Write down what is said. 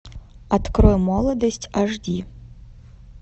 открой молодость аш ди